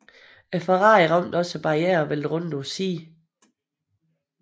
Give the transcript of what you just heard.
Ferrarien ramte også barrieren og væltede rundt på siden